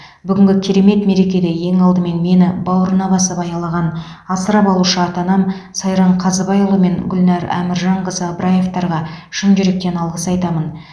бүгінгі керемет мерекеде ең алдымен мені бауырына басып аялаған асырап алушы ата анам сайран қазыбайұлы мен гүлнар әміржанқызы ыбыраевтарға шын жүректен алғыс айтамын